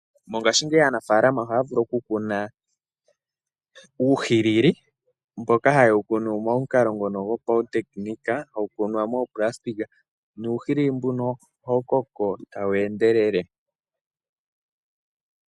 Mongashingeyi aanafaalama ohaya vulu oku kuna uuhilili mboka ha yewu kunu mo mukalo ngono go pawu tekinika. Hawu kunwa moopulasitika, nuuhilili mbuno ohawu koko tawu endelele.